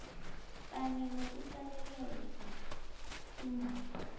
kanye nokuqalelela iindaba